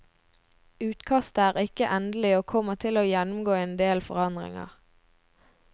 Utkastet er ikke endelig og kommer til å gjennomgå en del forandringer.